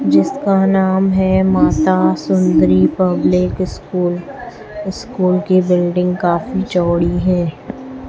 जिसका नाम है Masa Sundari public school school की बिल्डिंग काफी चौड़ी है।